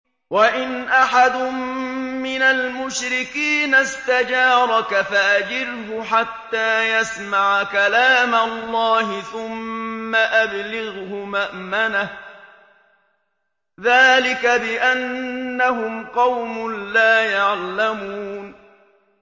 وَإِنْ أَحَدٌ مِّنَ الْمُشْرِكِينَ اسْتَجَارَكَ فَأَجِرْهُ حَتَّىٰ يَسْمَعَ كَلَامَ اللَّهِ ثُمَّ أَبْلِغْهُ مَأْمَنَهُ ۚ ذَٰلِكَ بِأَنَّهُمْ قَوْمٌ لَّا يَعْلَمُونَ